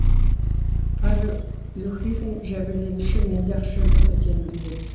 павел люхихин жәбірленуші менде ақша жоқ екенін біледі